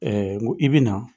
n ko i bɛ na